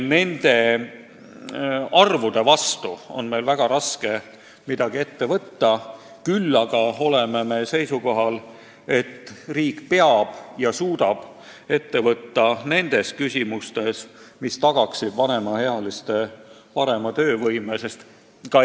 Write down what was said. Nende arvude vastu on meil väga raske midagi ette võtta, küll aga oleme seisukohal, et riik suudab astuda samme, mis tagaksid vanemaealiste parema töövõime.